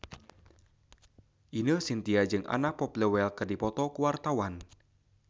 Ine Shintya jeung Anna Popplewell keur dipoto ku wartawan